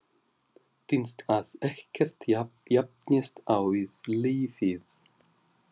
Finnst að ekkert jafnist á við lífið.